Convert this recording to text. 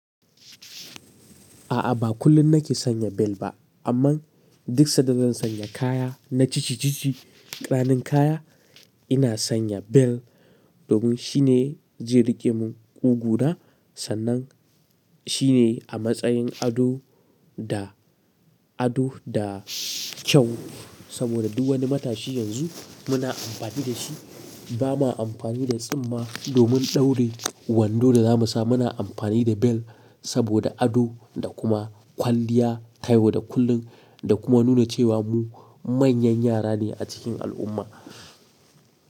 A'a, ba kullum nake sanya bel ba, amma duk sada zan sanya kaya na cici-cici, ƙananan kaya, ina sanya bel domin shine je riƙemin ƙuguna. Sannan shine a matsayin ado da ado da kyau saboda duk wani matashi yanzu muna amfani da shi. Ba ma amfani da tsimma domin ɗaurin wando da za mu sa muna amfani da bel saboda ado da kuma kwalliya, kaiwa da kullun da kuma nuna cewa mu manyan yara ne a cikin al'umma.